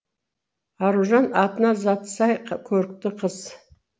аружан атына заты сай көрікті қыз